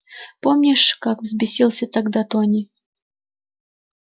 помнишь как взбесился тогда тони